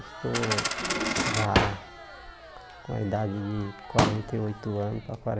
Estou já com a idade de quarenta e oito anos para